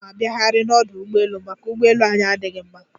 Aga m abiaghiarị n'ọdụ ụgbọelu, maka ụgbọelu anyị adịghị mma.